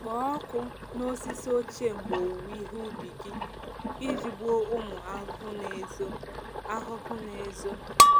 Kpọọ ọkụ n’osisi ochie mgbe owuwe ihe ubi iji gbuo ụmụ ahụhụ na-ezo. ahụhụ na-ezo.